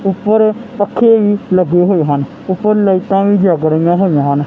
ਉੱਪਰ ਪੱਖੇ ਵੀ ਲੱਗੇ ਹੋਏ ਹਨ ਉੱਪਰ ਲਾਈਟਾਂ ਵੀ ਜੱਗ ਰਹੀਆਂ ਹੋਈਆਂ ਹਨ।